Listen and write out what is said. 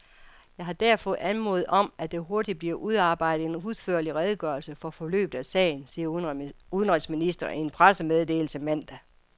Jeg har derfor anmodet om, at der hurtigt bliver udarbejdet en udførlig redegørelse for forløbet af sagen, siger udenrigsministeren i en pressemeddelelse mandag.